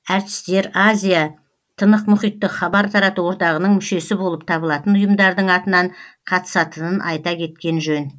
әртістер азия тынық мұхиттық хабар тарату одағының мүшесі болып табылатын ұйымдардың атынан қатысатынын айта кеткен жөн